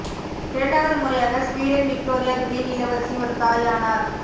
இரண்டாவது முறையாக Sweden Victoria கிரீன் இளவரசி ஒரு தாய் ஆனார்